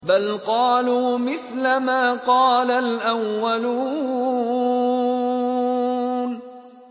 بَلْ قَالُوا مِثْلَ مَا قَالَ الْأَوَّلُونَ